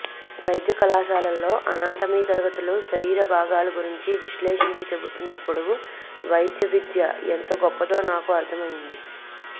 వైద్యకళాశాలలో anatomy తరగతులు శరీర భాగాల గురించి విశ్లేషించి చెబుతున్నప్పుడు వైద్యవిద్య ఎంత గొప్పదో నాకు అర్థమయ్యింది